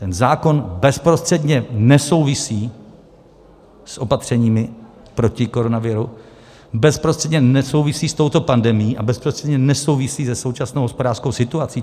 Ten zákon bezprostředně nesouvisí s opatřeními proti koronaviru, bezprostředně nesouvisí s touto pandemií a bezprostředně nesouvisí se současnou hospodářskou situací.